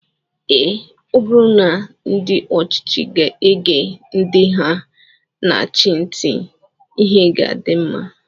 Ee, ọ bụrụ na ndị ọchịchị ga-ege ndị ha na-achị ntị, ihe ga-adị mma